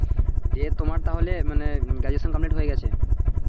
যে তোমার তাহলে মানে graduation complete হয়ে গেছে,